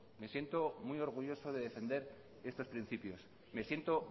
me siento muy orgulloso de defender estos principios amaitzen joan